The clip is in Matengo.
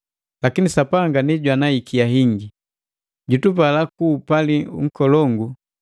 Lakini Sapanga ndi jwana ikia ingi. Jutupala ku upali nkolongu,